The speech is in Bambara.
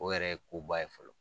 O yɛrɛ ye koba ye fɔlɔ.